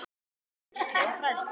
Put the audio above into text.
Kennslu og fræðslu